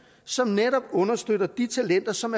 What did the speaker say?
som netop understøtte de talenter som